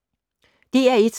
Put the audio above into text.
DR1